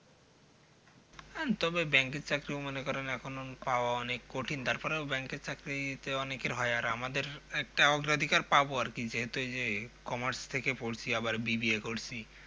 হ্যাঁ তবে bank চাকরী ও মনে করেন পাওয়া অনেক কঠিন তারপরেও bank এর চাকরিতে অনেকের হয় আর আমাদের একটা অগ্রাধিকার পাবো আর কি যেহেতু এই যে commerce থেকে পড়ছি আবার B B A করছি